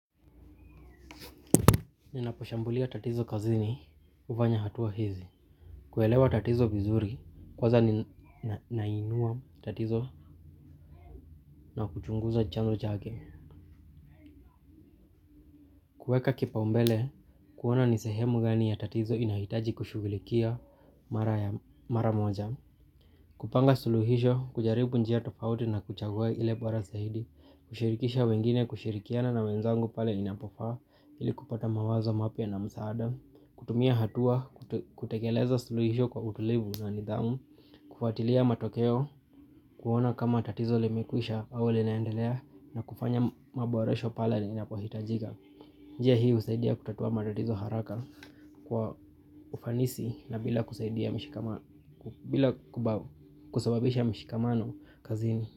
Ninaposhambulia tatizo kazini hufanya hatua hizi. Kuelewa tatizo vizuri, kwaza ninainua tatizo na kuchunguza chanzo chake. Kueka kipaumbele, kuona nisehemu gani ya tatizo inahitaji kushughulikia mara moja. Kupanga suluhisho, kujaribu njia tofauti na kuchagua ile bora zaidi, kushirikisha wengine kushirikiana na wenzangu pale inapofaa ili kupata mawazo mapya na msaada. Kutumia hatua, kutekeleza suluhisho kwa utulivu na nidhamu. Kufatilia matokeo, kuona kama tatizo limekwisha au linaendelea. Na kufanya mabuoresho pale ninapohitajika. Njia hii usaidia kutatua matatizo haraka kwa ufanisi na bila kusababisha mshikamano kazini.